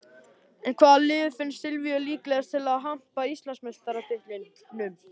En hvaða lið finnst Silvíu líklegast til að hampa Íslandsmeistaratitlinum?